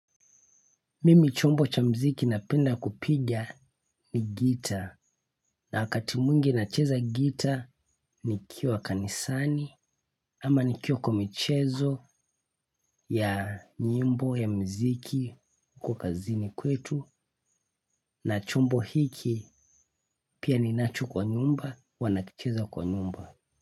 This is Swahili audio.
Mimi chombo cha mziki napenda kupiga ni gita na wakati mwngi na cheza gita ni kiwa kanisani ama nikiwa kwa michezo ya nyimbo ya mziki kazini kwetu na chombo hiki pia ninacho kwa nyumba huwa nakicheza kwa nyumba.